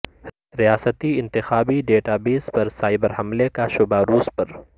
ریاستی انتخابی ڈیٹابیس پر سائبر حملے کا شبہ روس پر